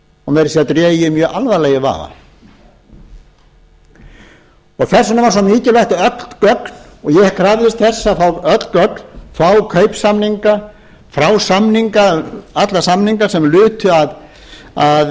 og meira að segja dreg ég það mjög alvarlega í vafa þess vegna var svo mikilvægt að öll gögn ég krafðist þess að fá öll gögn fá kaupsamninga fá alla samninga sem lutu að kaupum á